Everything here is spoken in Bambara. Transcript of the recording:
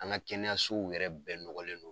An ŋa kɛnɛyasow yɛrɛ bɛɛ nɔgɔlen don.